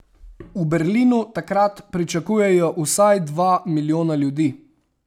V Berlinu takrat pričakujejo vsaj dva milijona ljudi.